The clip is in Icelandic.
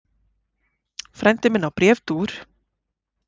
Frændi minn á bréfdúfur.